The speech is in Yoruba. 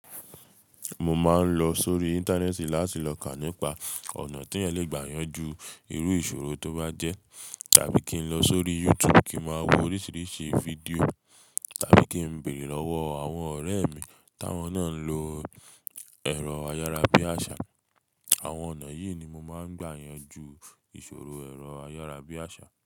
Mo máa ń lọ sórí Íńtánẹ́ẹ̀tì láti lọ kà nípa ọ̀nà tí eeyan le gbà yànjú irú ìṣòro tó bá jẹ́. Tàbí kí n lọ sórí YouTube kí n máa wo oríṣiríṣi fídíò tàbí kí n béèrè lọ́wọ́ àwọn ọ̀rẹ́ mi táwọn náà ń lo ẹ̀rọ ayára bí àṣá. Àwọn ọ̀nà yìí ni mo máa ń gbà yànjú ìṣòro ẹ̀rọ ayára bí àṣá.